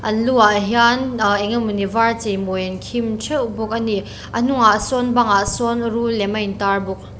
an lu ah hian ahh engemaw var cheimawi an khim theuh bawk ani a hnungah sawn bangah sawn rul lem a intar bawk.